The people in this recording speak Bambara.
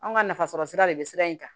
Anw ka nafasɔrɔ sira de bɛ sira in kan